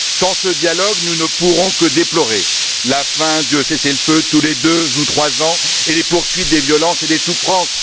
Sans ce dialogue, nous ne pourrons que déplorer la fin des cessez le feu tous les deux ou trois ans et la poursuite des violences et des souffrances.